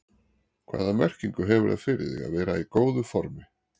Hvaða merkingu hefur það fyrir þig að vera í góðu formi?